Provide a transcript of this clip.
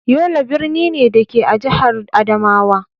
Yola birni ne, da ke a jihar Adamawa.